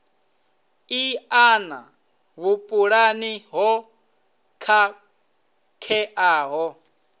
i ṱana vhupulani ho khakheaho